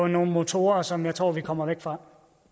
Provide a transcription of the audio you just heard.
nogle motorer som jeg tror vi kommer væk fra